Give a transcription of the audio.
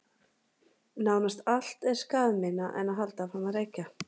Nánast allt er skaðminna en að halda áfram að reykja.